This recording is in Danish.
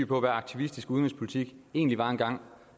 på hvad aktivistisk udenrigspolitik egentlig var engang